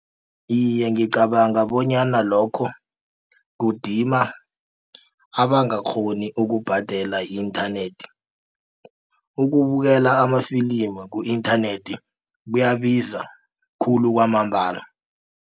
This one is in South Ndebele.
Iye, ngicabanga bonyana lokho kudima abangakghoni ukubhadela i-internet. Ukubukela amafilimi ku-internet kuyabiza khulu kwamambala.